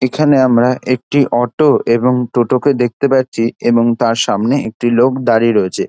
এখানে আমরা একটি অটো এবং টোটো কে দেখতে পাচ্ছি এবং তার সামনে একটি লোক দাঁড়িয়ে রয়েছে |